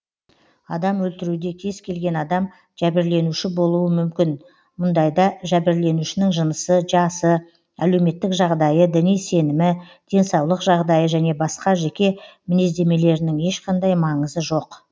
адам өлтіруде кез келген адам жәбірленуші болуы мүмкін мұндайда жәбірленушінің жынысы жасы әлеуметтік жағдайы діни сенімі денсаулық жағдайы және басқда жеке мінездемелерінің ешқандай маңызы жоқ